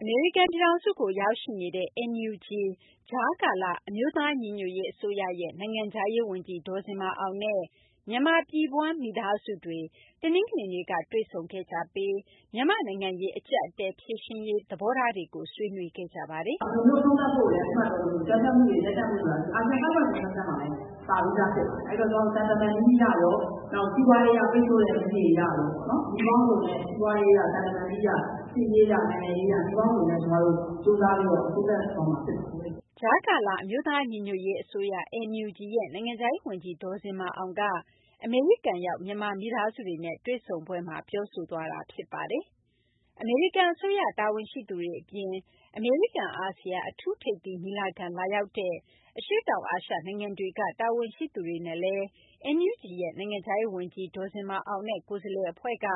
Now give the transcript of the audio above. အမေရိကန်ပြည်ထောင်စုကို ရောက်ရှိနေတဲ့ NUG ကြားကာလ အမျိုးသားညီညွတ်ရေး အစိုးရရဲ့ နိုင်ငံခြားရေးဝန်ကြီး ဒေါ်ဇင်မာအောင်နဲ့ မြန်မာပြည်ဖွား မိသားစုတွေ တနင်္ဂနွေနေ့က တွေ့ဆုံခဲ့ကြပြီး မြန်မာ့နိုင်ငံရေး အကျပ်အတည်း ဖြေရှင်းရေး သဘောထားတွေကို ဆွေးနွေးခဲ့ကြပါတယ်။ “အကြမ်းဖက်မှုတွေ ရပ်တန့်ဖို့ဆိုတာ အာဆီယံ 5 Point Consensus မှာလည်း ပါပြီးဖြစ်တယ်။ အဲဒီတော့ ကျမတို့ သံတမန်နည်းအရရော၊ စီးပွားရေးအရ ပိတ်ဆို့တဲ့နည်းတွေ အရရော နည်းပေါင်းစုံနဲ့ စီးပွားရေးအရ သံတမန်နည်းအရ စစ်ရေးအရ နိုင်ငံရေးအရ နည်းပေါင်းစုံနဲ့ ကြိုးစားပြီး အဆုံးသတ်သွားမှာ ဖြစ်ပါတယ်။” ကြားကာလ အမျိုးသားညီညွတ်ရေးအစိုးရ (NUG) ရဲ့ နိုင်ငံခြားရေးဝန်ကြီး ဒေါ်ဇင်မာအောင်က အမေရိကန်ရောက် မြန်မာမိသားစုတွေနဲ့ တွေ့ဆုံပွဲမှာ ပြောခဲ့တာပါ။ အမေရိကန်အစိုးရ တာဝန်ရှိသူတွေအပြင် အမေရိကန်-အာဆီယံ အထူးထိပ်သီးညီလာခံ လာရောက်တဲ့ အရှေ့တောင်အာရှ နိုင်ငံတွေက တာဝန်ရှိသူတွေနဲ့လည်း NUG ရဲ့ နိုင်ငံခြားရေးဝန်ကြီး ဒေါ်ဇင်မာအောင်နဲ့ ကိုယ်စားလှယ်အဖွဲ့က